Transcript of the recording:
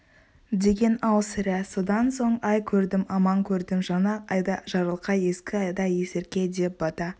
деген-ау сірә содан соң ай көрдім аман көрдім жаңа айда жарылқа ескі айда есірке деп бата